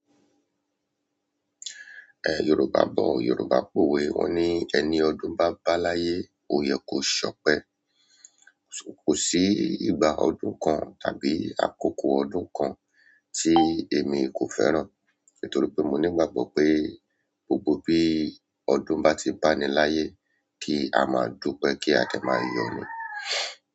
Eh, Yoruba bo Yoruba pòwe wón ní "Ẹni ọdún bá bá láyé, òye kò ṣọpẹ́". Kò sí ìgbà ọdún kan tàbí àkókò ọdún kan tí èmi kò fẹ́ràn. Nítorí pé mo ní ìgbàgbọ́ pé gbogbo bí ọdún bá ti báni láyé kí á máa dúpẹ́ kí a dẹ̀ máa yọ ni.